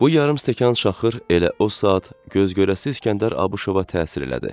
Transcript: Bu yarım stəkan çaxır elə o saat göz görəsi İskəndər Abışova təsir elədi.